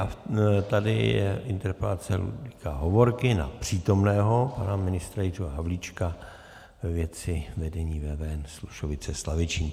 A tady je interpelace Ludvíka Hovorky na přítomného pana ministra Jiřího Havlíčka ve věci vedení VVN Slušovice - Slavičín.